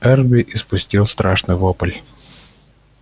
эрби испустил страшный вопль